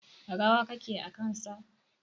Rawa kake a kan sa.